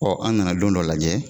Ɔ an nana don dɔ lajɛ